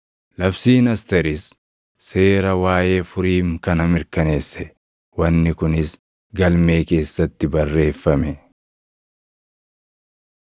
Labsiin Asteeris seera waaʼee Furiim kana mirkaneesse; wanni kunis galmee keessatti barreeffame.